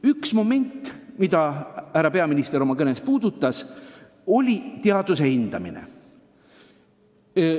Üks moment, mida härra peaminister oma kõnes puudutas, on teaduse hindamine.